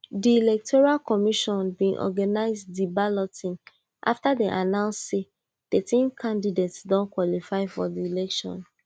di electoral commission bin organize di balloting afta dey announce say thirteen candidates don qualify for di elections